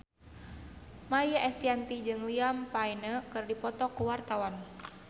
Maia Estianty jeung Liam Payne keur dipoto ku wartawan